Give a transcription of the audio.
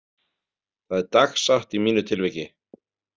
Það er dagsatt í mínu tilviki.